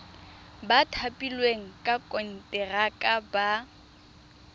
ba thapilweng ka konteraka ba